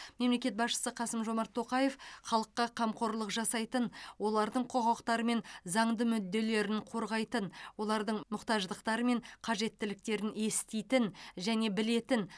мемлекет басшысы қасым жомарт тоқаев халыққа қамқорлық жасайтын олардың құқықтары мен заңды мүдделерін қорғайтын олардың мұқтаждықтары мен қажеттіліктерін еститін және білетін